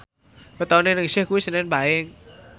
wetone Ningsih kuwi senen Paing